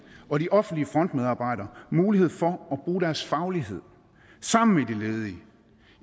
og de offentlige frontmedarbejdere mulighed for bruge deres faglighed sammen med de ledige